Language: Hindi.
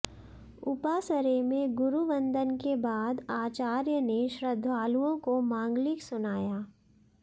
उपासरे मे गुरुवंदन के बाद आचार्य ने श्रद्धालुओं को मांगलिक सुनाया